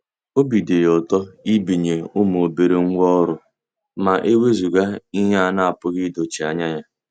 Obi dị ya ụtọ ibinye ụmụ obere ngwá ọrụ ma ewezuga ihe a na-apụghị idochie anya ya.